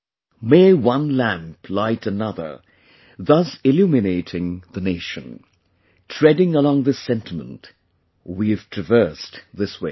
'May one lamp light another, thus illuminating the Nation' treading along this sentiment, we've traversed this way